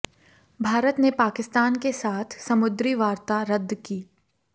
भारत ने पाकिस्तान के साथ समुद्री वार्ता रद्द की